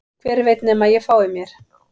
Hver veit nema að ég fái mér